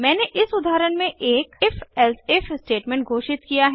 मैंने इस उदाहरण में एक if एलसिफ स्टेटमेंट घोषित किया है